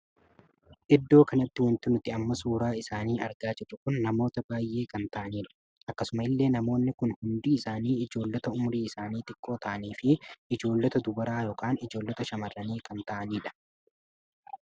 Iddoo kanatti wanti nuti amma suuraa isaanii argaa jirru kun namoota baay'ee kan taa'aniidha. akkasuma illee namoonni kun hundi isaanii ijoollota umurii isaanii xiqqoo taa'anii fi ijoolloota dubaraa ykn ijoolloota shamarranii kan taa'aniidha.